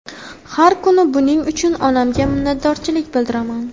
Har kuni buning uchun onamga minnatdorchilik bildiraman”.